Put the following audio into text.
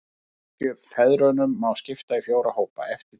Kirkjufeðrunum má skipta í fjóra hópa, eftir tímaröð.